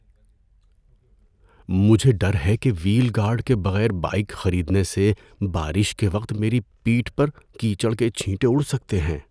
مجھے ڈر ہے کہ وہیل گارڈ کے بغیر بائیک خریدنے سے بارش کے وقت میری پیٹھ پر کیچڑ کے چھینٹے اُڑ سکتے ہیں۔